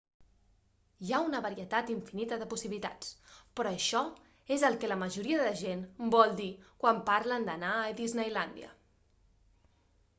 hi ha una varietat infinita de possibilitats però això és el que la majoria de gent vol dir quan parlen d'"anar a disneylàndia